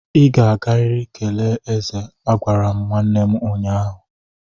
Ị ga-agariri ga kelee eze! Agwara m nwanne m ụnyahụ.